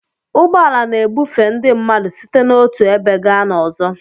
Ụgbọ ala na-ebufe ndị mmadụ site n'otu ebe gaa n'ọzọ